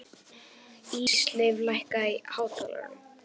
Ísleif, lækkaðu í hátalaranum.